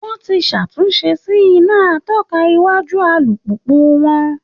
Wọ́n ti ṣàtúnṣe sí iná atọ́ka iwájú alùpùpù wọn